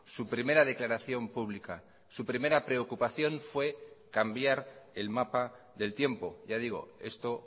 su primera declaración pública su primera preocupación fue cambiar el mapa del tiempo ya digo esto